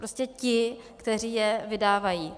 Prostě ti, kteří je vydávají.